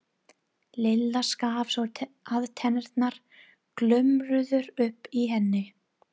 Lilla skalf svo að tennurnar glömruðu uppi í henni.